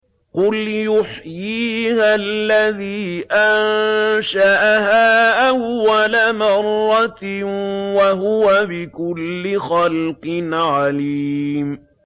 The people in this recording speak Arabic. قُلْ يُحْيِيهَا الَّذِي أَنشَأَهَا أَوَّلَ مَرَّةٍ ۖ وَهُوَ بِكُلِّ خَلْقٍ عَلِيمٌ